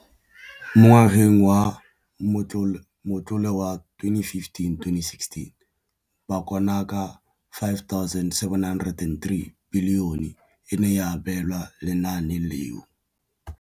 Mo ngwageng wa matlole wa 2015,16, bokanaka R5 703 bilione e ne ya abelwa lenaane leno.